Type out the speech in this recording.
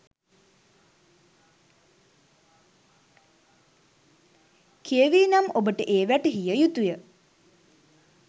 කියවී නම් ඔබට ඒ වැටහිය යුතුය.